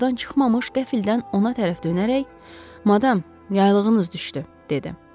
Qapıdan çıxmamış qəfildən ona tərəf dönərək: "Madam, yaylığınız düşdü", dedi.